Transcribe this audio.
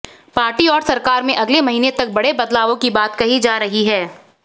party और सरकार में अगले महीने तक बड़े बदलावों की बात कही जा रही है